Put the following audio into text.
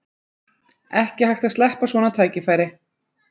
Ekki hægt að sleppa svona tækifæri